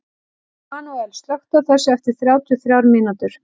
Manuel, slökktu á þessu eftir þrjátíu og þrjár mínútur.